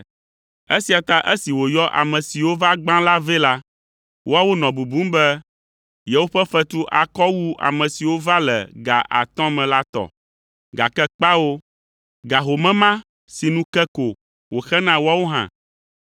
Esia ta esi wòyɔ ame siwo va gbã la vɛ la, woawo nɔ bubum be yewoƒe fetu akɔ wu ame siwo va le ga atɔ̃ me la tɔ, gake kpao; ga home ma sinu ke ko wòxe na woawo hã.